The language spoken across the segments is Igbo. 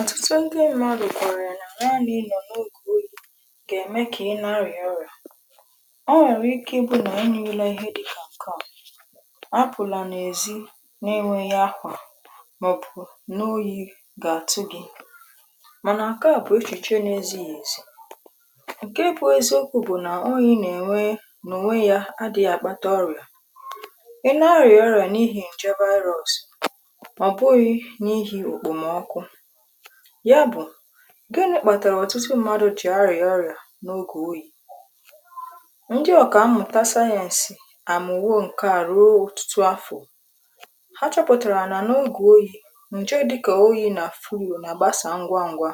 ọtụtụ ndị mmadụ kwẹ̀rẹ̀ nà naanị nọ̀ n’ogè oyi̇ gà ème kà ịnarị̀ ọrịà ọ nwẹ̀rẹ̀ ike ị bụ nà ị nụle ihe dịkà nke ọ̀ apụ̀là n’èzi n’enwėghi̇ akwa màọ̀bù n’oyì gà àtụ gị̇ mànà nkeà bù echèchè n’ezighì èzi ǹkè e bụ̇ ezi okwu̇ bụ̀ nà oyi̇ nà ènwe nà onwe yȧ adị̀ghi yà àkpata ọrìà ị narị̀ ọrìà n’ihi ǹje virus ọbụghi n'ihi ekpom ọkụ ya bụ̀ gini̇kpàtàrà ọ̀tụtụ mmadụ̀ jì arịà ọrịà n’ogè oyi̇? ndị ọ̀kà mmụ̀ta sȧyẹ̇nsị̇ amụ̀wo ǹkè àrụoo ọ̀tụtụ afọ̀ ha chọpụ̀tàrà nà n’ogè oyi̇ ǹjọ dịkà oyi̇ nà furu nà gbasà ngwa ngwȧ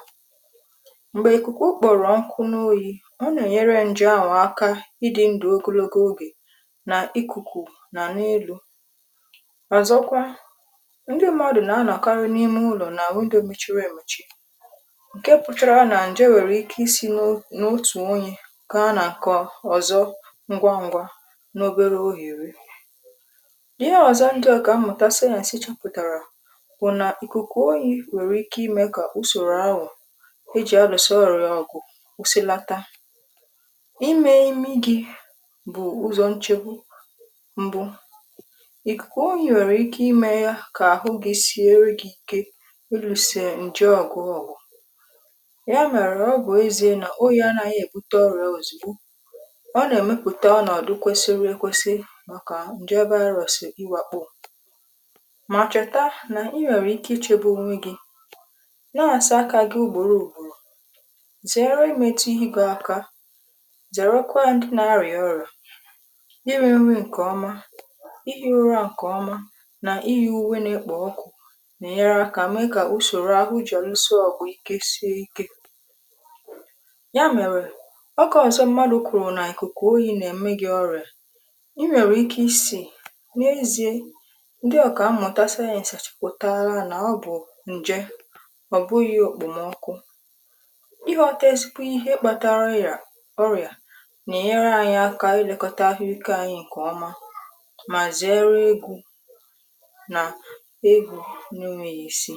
m̀gbè ikuku okporo nkụ̇ n’oyi̇ ọ nà-ènyere ǹje ahụ aka ịdị̇ ndụ̀ ogologo ogè nà ikùkù nà n’elu̇ ọ̀zọkwa ndi mmadu na anọ karị n'ime ụlọ na windo mechiri emechi ǹke pụtara nà ǹje nwèrè ike isi̇nụ n’otù onye kà a nà ǹkọ ọ̀zọ ngwa ngwa n’obero ohèri ihe ọ̀zọ ndị ọkà mmụta science chọpụ̀tàrà bụ̀ nà ìkùkù oyi nwèrè ike imė kà usòrò anwụ̀ ejì aluso ọrụ̀ ọ̀gụ̀ kwụsilata imė imi gi̇ bụ̀ ụzọ̀ nchegbụ mbụ, ikuku oyi nwere ike ime ya ka ahụ gi siere gi ike ilusi ǹje ọgụ ọgụ ya mere ọbụ ezie nà oyi anaghị èbute ọrị̀ȧ ozìgbo ọ nà-èmepụ̀ta ọnọ̀dụ kwesiri ekwesi màkà ǹje virus iwakpọ̇ mà chèta nà i nwèrè ike ichėbù onwe gi̇ na-àsa aka gị ùgbòrò ùgbòrò zèere imetu ihe ego aka zèere kwa ndị na-arị̀a ọrị̀à iri nri ǹkèọma ihe ụra ǹkèọma nà ihe uwe na-ekpà ọkụ̀ nà-ènyere akȧ mee kà usoro ahụ ji aluso ọgụ ike sie ike ya mere ọkọ ọzọ mmadụ kwuru na ikuku oyi na-eme gi ọrịa i nwere ike isi n’ezie ndị ọka amụta sayịnsa chupụtara na ọ bụ nje ọ bụghi okpomọkụ ihe ọtọ esikwu ihe kpatara ya ọrịa na-enyere anyị aka ilekọta ahụike anyị nke ọma ma zere egwu na egwu na enweghi isi.